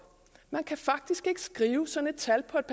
man kan faktisk ikke skrive sådan et tal på et